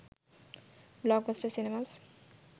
blockbuster cinemas